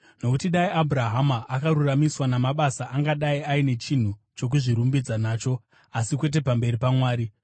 Nokuti dai Abhurahama akaruramisirwa namabasa, angadai aine chinhu chokuzvirumbidza nacho, asi kwete pamberi paMwari.